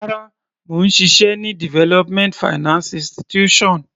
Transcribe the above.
Rárá, mò ń ṣiṣẹ́ ní development finance institution.